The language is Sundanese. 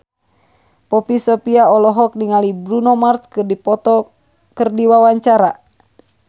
Poppy Sovia olohok ningali Bruno Mars keur diwawancara